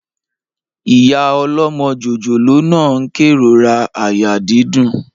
Ìyá ọlọ́mọ jòjòló náà n kérora àyà dídùn